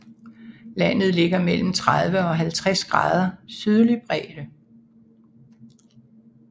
Landet ligger mellem 30 og 50 grader sydlig bredde